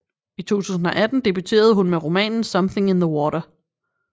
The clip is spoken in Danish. I 2018 debuterede hun med romanen Something in the Water